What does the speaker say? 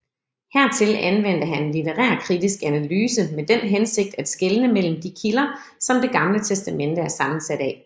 Hertil anvendte han litterærkritisk analyse med den hensigt at skelne mellem de kilder som Det Gamle Testamente er sammensat af